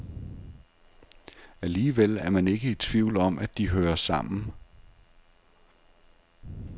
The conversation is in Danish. Alligevel er man ikke i tvivl om, at de hører sammen.